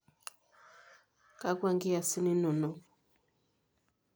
Kakwa inkiyasin inonok?